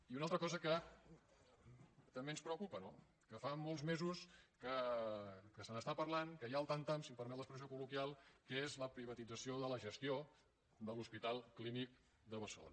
i una altra cosa que també ens preocupa no que fa molts mesos que se n’està parlant que hi ha el tam tam si em permet l’expressió col·loquial que és la privatització de la gestió de l’hospital clínic de barcelona